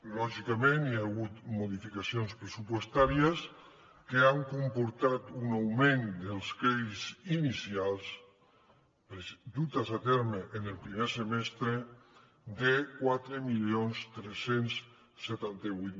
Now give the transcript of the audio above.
lògicament hi ha hagut modificacions pressupostàries que han comportat un augment dels crèdits inicials dutes a terme en el primer semestre de quatre mil tres cents i setanta vuit